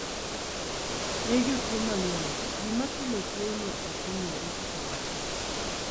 ne jotuo mang'eny, gima kelo tuo no ok ong'ere kata matin